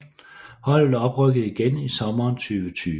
Holdet oprykkede igen i sommeren 2020